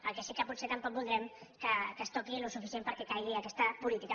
el que sí que potser tampoc voldrem que es toqui el suficient perquè caigui aquesta política